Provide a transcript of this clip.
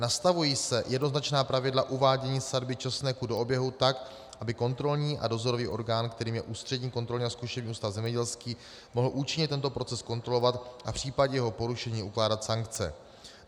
Nastavují se jednoznačná pravidla uvádění sadby česneku do oběhu tak, aby kontrolní a dozorový orgán, kterým je Ústřední kontrolní a zkušební ústav zemědělský, mohl účinně tento proces kontrolovat a v případě jeho porušení ukládat sankce.